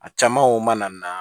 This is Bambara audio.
A caman o mana na